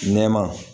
Nɛma